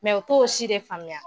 u t'o si de faamuya.